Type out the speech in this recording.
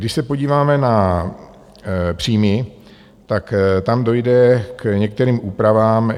Když se podíváme na příjmy, tak tam dojde k některým úpravám.